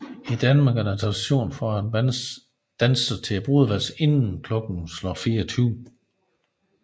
I Danmark er der tradition for at man danser til brudevalsen inden klokken slår 24